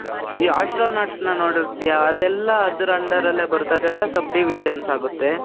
ಈ astronautನ ನೋಡಿರ್ತೀಯ. ಅದೆಲ್ಲ ಅದರ್ under ಅಲ್ಲೆ ಬರುತ್ತೆ. ಅದೆಲ್ಲ sub divisions ಆಗುತ್ತೆ.